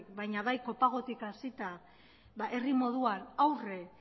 baina baikopagotik hasita herri moduan aurre